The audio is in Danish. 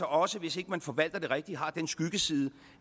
også hvis ikke man forvalter den rigtigt har den skyggeside